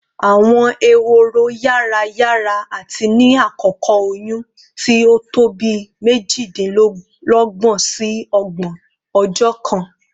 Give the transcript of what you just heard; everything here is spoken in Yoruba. Awọn ehoro yara yara ati ni akoko oyun ti o to bii mejidinlọgbọn si ọgbọn ọjọ kan